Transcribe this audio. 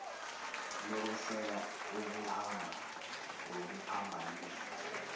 lokweseka okuhamba ngokuphambanisa